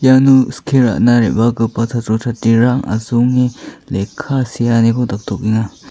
iano skie ra·na re·bagipa chatro chatrirang asonge lekka seaniko daktokenga.